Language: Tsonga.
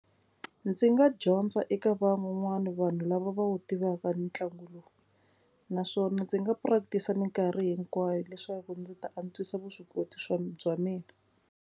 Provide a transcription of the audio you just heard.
Ndzi nga dyondza eka van'wana vanhu lava va wu tivaka ntlangu lowu naswona ndzi nga practice mikarhi hinkwayo leswaku ndzi ta antswisa vuswikoti swa bya mina.